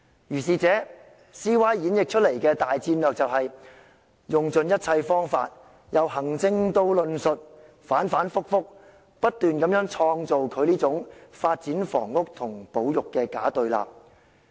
如是者 ，CY 演繹出來的大戰略便是用盡一切方法，由行政到論述，反反覆覆，不斷創造這種"房屋發展與保育"的假對立。